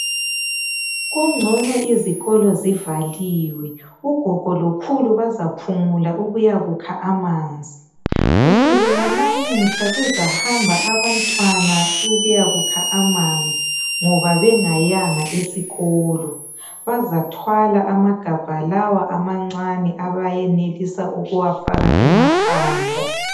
Kungcono izikolo zivaliwe. Ugogo lokhulu bazaphumula ukuyakukha amanzi. Kusukela lamuhla, kuzahamba abantwana ukuyakukha amanzi, ngoba bengayanga esikolo. Bazathwala amagabha lawa amancane abayenelisa ukuwafaka emakhanda.